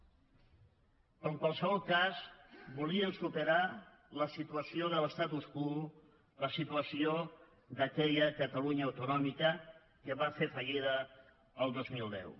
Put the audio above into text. però en qualsevol cas volien superar la situació de l’quo la situació d’aquella catalunya autonòmica que va fer fallida el dos mil deu